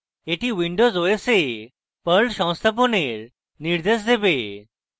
এটি windows os এ perl সংস্থাপনের নির্দেশ দেবে